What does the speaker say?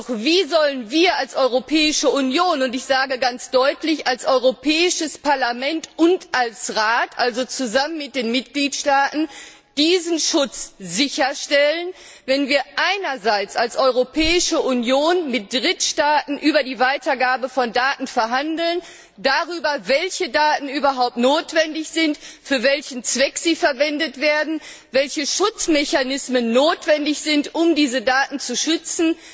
Doch wie sollen wir als Europäische Union und ich sage ganz deutlich als Europäisches Parlament und als Rat, also zusammen mit den Mitgliedstaaten diesen Schutz sicherstellen, wenn wir zwar als Europäische Union mit Drittstaaten über die Weitergabe von Daten verhandeln darüber, welche Daten überhaupt notwendig sind, für welchen Zweck sie verwendet werden und welche Schutzmechanismen notwendig sind, um diese Daten zu schützen